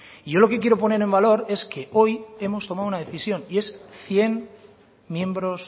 y yo lo que quiero poner en valor es que hoy hemos tomado una decisión y es cien miembros